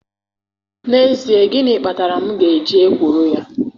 N'ezie, gịnị kpatara m ga-eji ekworo ya.